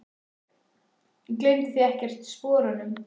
Gleymduð þið ekkert sporunum?